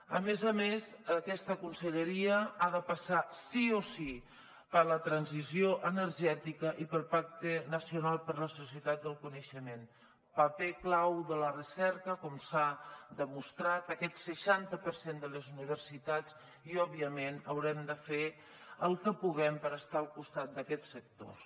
a més a més aquesta conselleria ha de passar sí o sí per la transició energètica i pel pacte nacional per a la societat del coneixement paper clau de la recerca com s’ha demostrat amb aquest seixanta per cent de les universitats i òbviament haurem de fer el que puguem per estar al costat d’aquests sectors